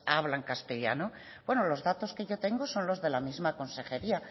hablan castellano bueno los datos que yo tengo son los de la misma consejería